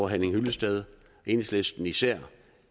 henning hyllested enhedslisten især